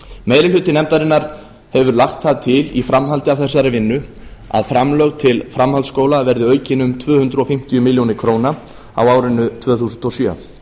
meiri hluti nefndarinnar hefur lagt það til í framhaldi af þessari vinnu að framlög til framhaldsskóla verði aukin um tvö hundruð fimmtíu milljónir króna á árinu tvö þúsund og sjö